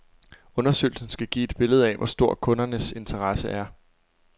Undersøgelsen skal give et billede af, hvor stor kundernes interesse er.